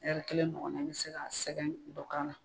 kelen ɲɔgɔnna i bi se ka sɛgɛn dɔ k'a la.